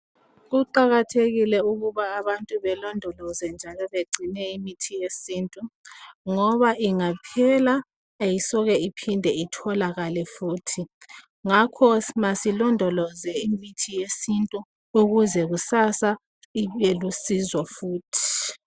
Kuqakathekile ukuba abantu belondoloze njalo bagcine imithi yesiNtu ngoba ingaphela ayisoke iphinde itholakale futhi ngakho masilondoloze imithi yesiNtu ukuze kusasa ibelusizo futhi.